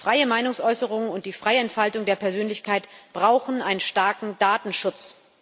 Die freie Meinungsäußerung und die freie Entfaltung der Persönlichkeit brauchen einen starken Datenschutz.